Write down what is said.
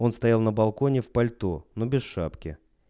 он стоял на балконе в пальто но без шапки